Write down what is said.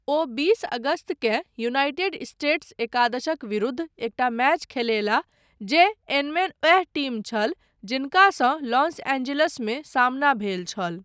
ओ बीस अगस्तकेँ United States एकादशक विरुद्ध एकटा मैच खेलयलाह जे एनमेन ओएह टीम छल जिनकासँ लॉस एंजिल्समे सामना भेल छल।